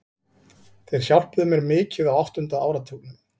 Þeir hjálpuðu mér mikið á áttunda áratugnum.